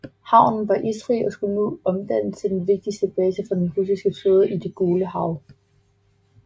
Havnen var isfri og skulle nu omdannes til den vigtigste base for den russiske flåde i Det Gule Hav